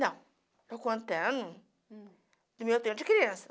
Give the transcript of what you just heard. Não, estou contando do meu tempo de criança.